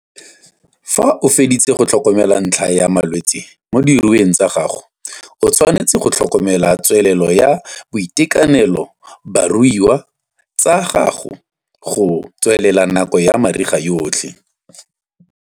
Fa o feditse go tlhokomela ntlha ya malwetse mo diruiweng tsa gago, o tshwanetse go tlhokomela tswelelo ya boitekanelo ba diruiwa tsa gago go tswelela nako ya mariga yotlhe.